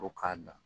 Ko k'a dan